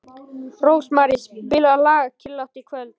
Rósmary, spilaðu lagið „Kyrrlátt kvöld“.